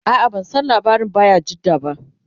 a'a ban San labarin bayajidda ba